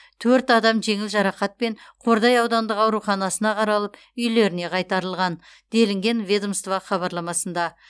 төрт адам жеңіл жарақатпен қордай аудандық ауруханасына қаралып үйлеріне қайтарылған делінген ведомство хабарламасында